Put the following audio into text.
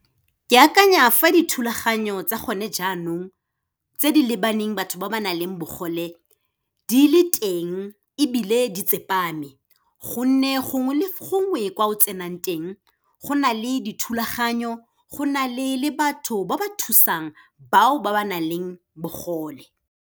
Ke akanya fa dithulaganyo tsa gone jaanong, tse di lebaneng batho ba ba nang le bogole, di le teng ebile di tsepame, gonne gongwe le gongwe kwa o tsenang teng, go na le dithulaganyo, go na le, le batho ba ba thusang, bao ba ba nang le bogole.